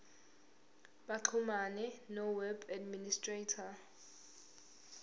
baxhumane noweb administrator